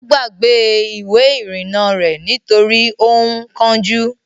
Ó gbàgbé Ìwé-ìrìnnà rẹ̀ nítorí ó ń kánjú.